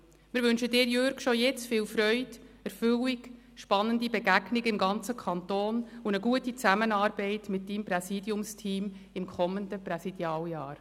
Wir wünschen Ihnen, Jürg Iseli, schon jetzt viel Freude, Erfüllung, spannende Begegnungen im ganzen Kanton und eine gute Zusammenarbeit mit Ihrem Präsidiumsteam im kommenden Präsidialjahr.